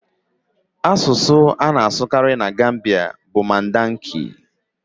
Asụsụ a na-asụkarị na Gambia bụ Mandika.